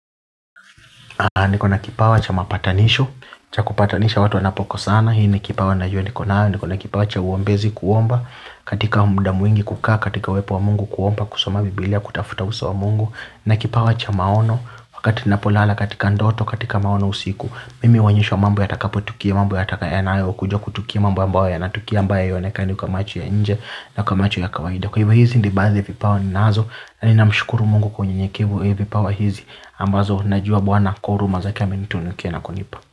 Niko na kipawa cha mapatanisho, cha kupatanisha watu wanapo kosana, hii ni kipawa najua niko nayo, niko na kipawa cha uombezi kuomba, katika muda mwingi kukaa, katika uwepo wa mungu kuomba, kusoma biblia, kutafuta uso wa mungu, na kipawa cha maono, wakati napolala katika ndoto, katika maono usiku, mimi huonyeshwa mambo yatakapo tukia mambo yataka yanayo, kuja kutukia mambo ambayo yanatukia ambayo haionekani kwa macho ya nje na kwa macho ya kawaida. Kwa hivo hizi ni baadhi ya vipawa ninazo na ninamshukuru Mungu kwa unyenyekevu eeh vipawa hizi ambazo najua bwana kwa huruma zake amenitunukia na kunipa.